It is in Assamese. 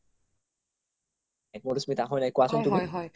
মাধুস্মিতা হয় নাই কোৱাচোন তুমি